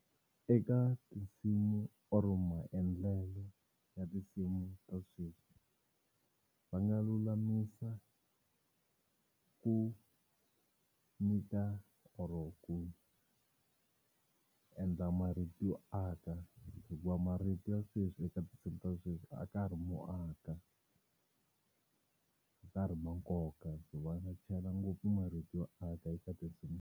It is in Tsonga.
Eka tinsimu or maendlelo ya tinsimu ta sweswi va nga lulamisa ku nyika or ku endla marito yo aka hikuva marito ya sweswi eka tinsimu ta sweswi a ka ha ri mo aka, a ka ha ri ma nkoka va nga chela ngopfu marito yo aka eka tinsimu.